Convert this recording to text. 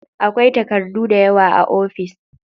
Akwai takardu dayawa a ofis.